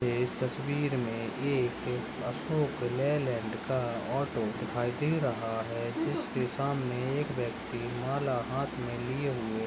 इस तस्वीर मे एक अशोक लेलँड का ऑटो दिखाई दे रहा है। उसके सामने एक व्यक्ति माल हाथ मे लिए हुवे--